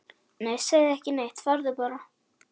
Nei, segðu ekki neitt, farðu bara.